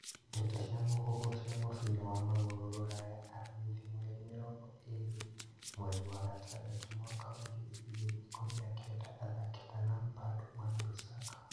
Ndeto cia mũhuhu cia mũbira wa magũrũ Rũraya aramithi mweri mĩrongo ĩrĩ mweri wa gatandatũ mwaka wa ngiri igĩrĩ ikũmi na kenda athaki ta Lampard, Wan-Bissaka